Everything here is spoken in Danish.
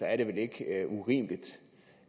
er det vel ikke urimeligt